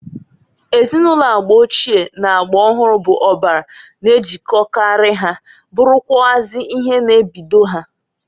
Ezinụlọ agba ochie n'agba ọhụrụ bụ ọbara n'ejilkokarị ha, bụrụkwụazị ihe na-ebido ha.